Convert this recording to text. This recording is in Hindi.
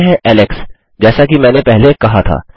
मानते हैं एलेक्स जैसा कि मैंने पहले कहा था